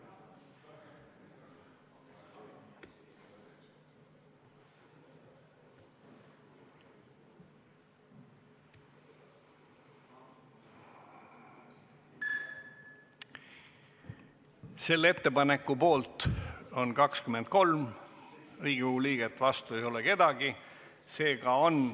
Hääletustulemused Selle ettepaneku poolt on 23 Riigikogu liiget, vastu ei ole keegi.